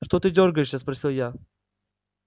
что ты дёргаешься спросил я